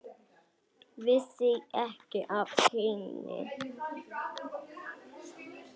Vissi ekki af henni.